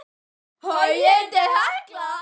Nei það getur ekki verið, segir hann.